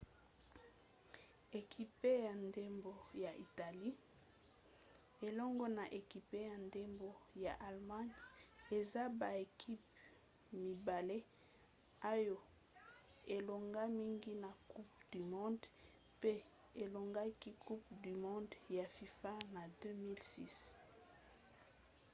ekipe ya ndembo ya italie elongo na ekipe ya ndembo ya allemagne eza baekipe mibale oyo elonga mingi na coupe du monde mpe elongaki coupe du monde ya fifa na 2006